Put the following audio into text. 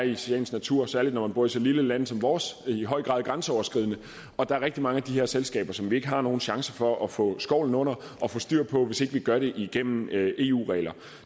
i sagens natur særlig når man bor i så lille et land som vores i høj grad er grænseoverskridende og der er rigtig mange af de her selskaber som vi ikke har nogen chance for at få skovlen under og få styr på hvis ikke vi gør det igennem eu regler